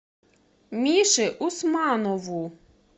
мише усманову